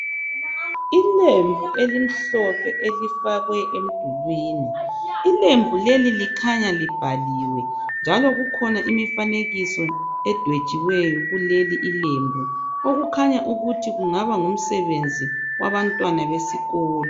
Ilembu elimhlophe elifakwe emdulwini ilembu leli likhanya libhaliwe njalo kukhona imifanekiso edwetshiweyo kuleli lembu okukhanya ukuthi kungaba ngumsebenzi wabantwana besikolo.